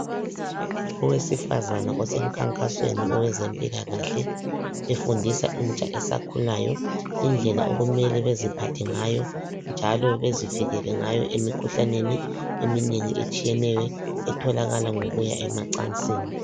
Owesifazana osemkhankasweni owezempilakahle efundisa intsha esakhulayo indlela okumele beziphathe ngayo njalo bezivikele ngayo emkhuhlaneni eminengi etshiyeneyo etholakala ngokuya emacansini.